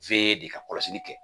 de ka kɔlɔsili kɛ